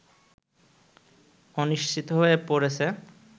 অনিশ্চিত হয়ে পড়েছে